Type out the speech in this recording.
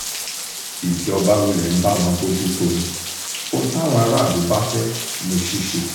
ìjọba wulẹ̀ ń bá wọn bójútó ó ní ohun táwọn aráàlú bá fẹ́ ní ṣíṣe